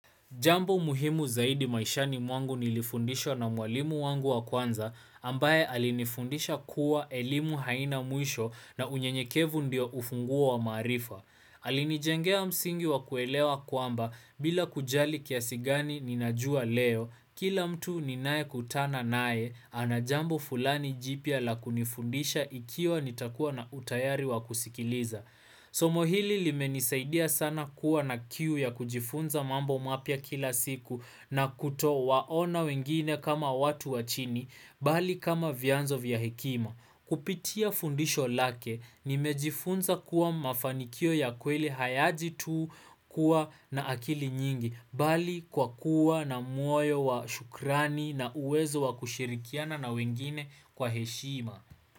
Jambo muhimu zaidi maishani mwangu nilifundishwa na mwalimu wangu wa kwanza ambaye alinifundisha kuwa elimu haina mwisho na unyenyekevu ndio ufunguo wa maarifa. Alinijengea msingi wa kuelewa kwamba bila kujali kiasi gani ninajua leo kila mtu ninayekutana nae ana jambo fulani jipya la kunifundisha ikiwa nitakuwa na utayari wa kusikiliza. Somo hili limenisaidia sana kuwa na kiu ya kujifunza mambo mapya kila siku na kutowaona wengine kama watu wa chini, bali kama vyanzo vya hekima. Kupitia fundisho lake nimejifunza kuwa mafanikio ya kweli hayaji tu kuwa na akili nyingi bali kwa kuwa na muoyo wa shukrani na uwezo wa kushirikiana na wengine kwa heshima.